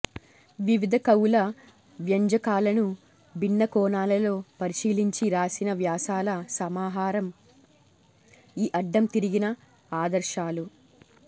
వివిధ కవుల వ్యంజకాలను భిన్న కోణాలలో పరిశీలించి రాసిన వ్యాసాల సమాహారం ఈ అడ్డం తిరిగిన ఆదర్శాలు